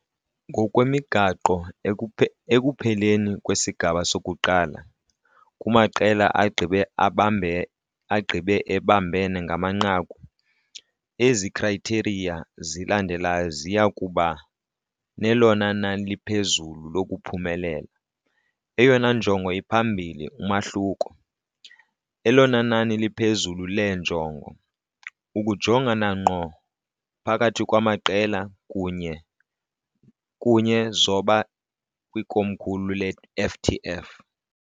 Ngokwemigaqo, ekupheleni kwesigaba sokuqala, kumaqela agqibe ebambene ngamanqaku, ezi khrayitheriya zilandelayo ziya kuba elona nani liphezulu lokuphumelela, eyona njongo iphambili umahluko, elona nani liphezulu leenjongo, ukujongana ngqo, phakathi kwamaqela, kunye zoba kwikomkhulu leFTF.